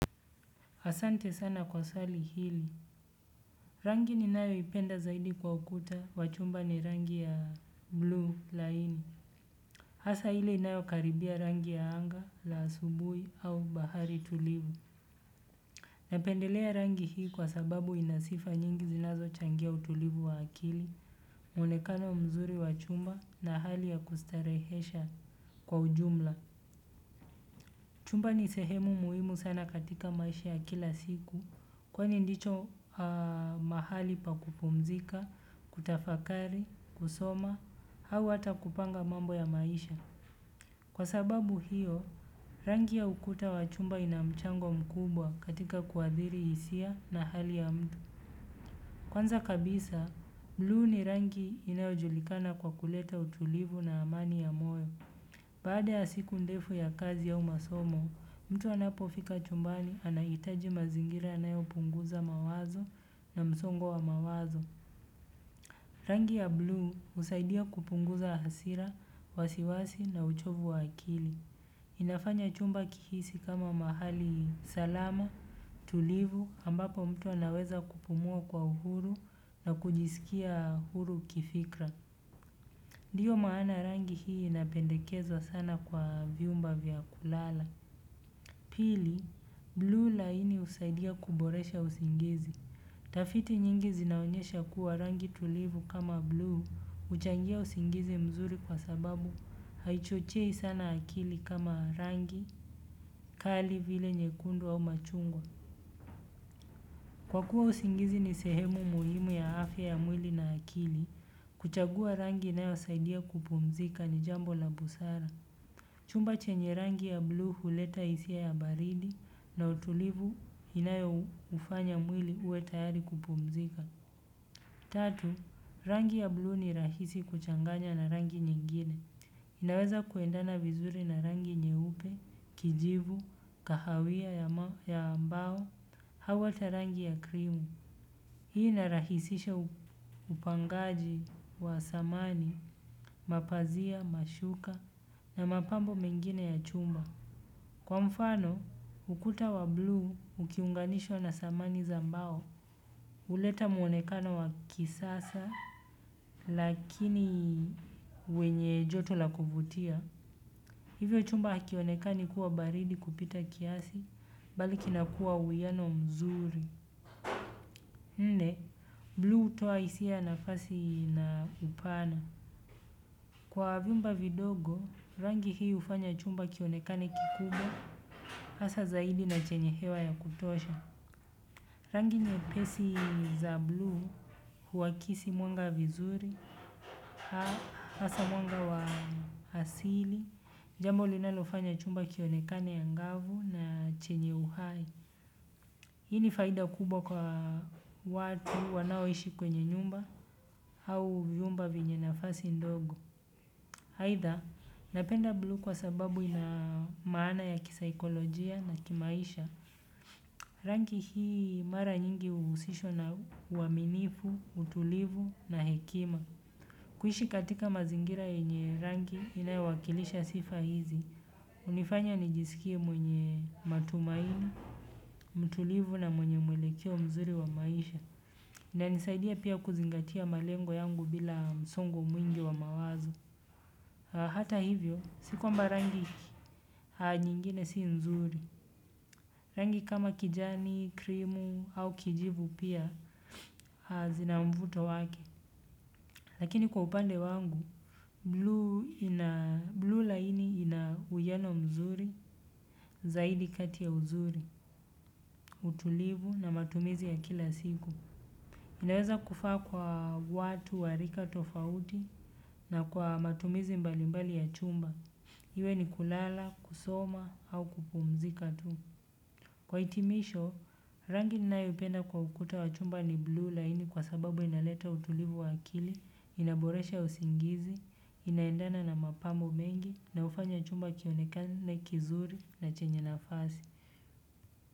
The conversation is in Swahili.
Asante sana kwa swali hili. Rangi ni nayo ipenda zaidi kwa ukuta, wachumba ni rangi ya bluu laini. Hasa ile inayo karibia rangi ya anga, la asubuhi au bahari tulivu. Napendelea rangi hii kwa sababu inasifa nyingi zinazo changia utulivu wa akili, mwonekano mzuri wachumba na hali ya kustarehesha kwa ujumla. Chumba ni sehemu muhimu sana katika maisha ya kila siku. Kwani ndicho mahali pa kupumzika, kutafakari, kusoma, au ata kupanga mambo ya maisha. Kwa sababu hiyo, rangi ya ukuta wa chumba inamchango mkubwa katika kuadhiri hisia na hali ya mtu. Kwanza kabisa, bluu ni rangi inayo julikana kwa kuleta utulivu na amani ya moyo. Baada ya siku ndefu ya kazi au masomo, mtu anapofika chumbani anahitaji mazingira yanayo punguza mawazo na msongo wa mawazo. Rangi ya bluu husaidia kupunguza hasira, wasiwasi na uchovu wa akili. Inafanya chumba kihisi kama mahali salama, tulivu, ambapo mtu anaweza kupumua kwa uhuru na kujisikia huru kifikra. Ndio maana rangi hii inapendekezwa sana kwa vyumba vya kulala. Pili, bluu laini husaidia kuboresha usingizi. Tafiti nyingi zinaonyesha kuwa rangi tulivu kama bluu huchangia usingizi mzuri kwa sababu haichochei sana akili kama rangi kali vile nyekundu au machungwa. Kwa kuwa usingizi ni sehemu muhimu ya afya ya mwili na akili, kuchagua rangi inayo saidia kupumzika ni jambo la busara. Chumba chenye rangi ya bluu huleta hisia ya baridi na utulivu inayo ufanya mwili uwe tayari kupumzika. Tatu, rangi ya bluu ni rahisi kuchanganya na rangi nyingine. Inaweza kuendana vizuri na rangi nyeupe, kijivu, kahawia ya mbao, au hata rangi ya krimu. Hii inarahisisha upangaji wa samani, mapazia, mashuka na mapambo mengine ya chumba. Kwa mfano, ukuta wa bluu, ukiunganishwa na samani za mbao. Huleta muonekano wa kisasa, lakini wenye joto la kuvutia. Hivyo chumba hakionekani kuwa baridi kupita kiasi, bali kinakua uwiyano mzuri. Nne, bluu hutoa hisi ya nafasi na upana. Kwa vyumba vidogo, rangi hii hufanya chumba kionekane kikubwa, hasa zaidi na chenye hewa ya kutosha. Rangi nyepesi za bluu, huwakisi mwanga vizuri, hasa mwanga wa asili, jambo linalofanya chumba kionekane angavu na chenye uhai. Hi ni faida kubwa kwa watu wanao ishi kwenye nyumba au vyumba vyenye nafasi ndogo aidha, napenda bluu kwa sababu ina maana ya kisaikolojia na kimaisha. Rangi hii mara nyingi huhusishwa na uaminifu, utulivu na hekima. Kuishi katika mazingira yenye rangi inayowakilisha sifa hizi. Hunifanya nijisikie mwenye matumaina, mtulivu na mwenye mwelekeo mzuri wa maisha. Inanisaidia pia kuzingatia malengo yangu bila msongo mwingi wa mawazo hata hivyo, si kwamba rangi nyingine si nzuri. Rangi kama kijani, krimu au kijivu pia, zinamvuto wake. Lakini kwa upande wangu, bluu laini ina uwiano mzuri. Zaidi kati ya uzuri, utulivu na matumizi ya kila siku. Inaweza kufaa kwa watu, warika, tofauti na kwa matumizi mbalimbali ya chumba. Iwe ni kulala, kusoma au kupumzika tu. Kwa hitimisho, rangi ninayo ipenda kwa ukuta wa chumba ni bluu laini kwa sababu inaleta utulivu wa akili, inaboresha usingizi, inaendana na mapambo mengi, na hufanya chumba kionekani na kizuri na chenye nafasi.